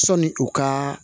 Sɔni u ka